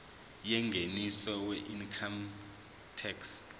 yengeniso weincome tax